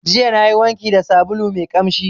Jiya nayi wanki da sabulu mai ƙamshi.